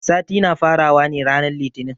Sati na fara wa ne ranan litinin.